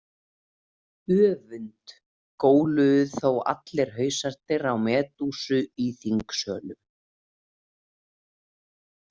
Öfund, góluðu þá allir hausarnir á Medúsu í þingsölum.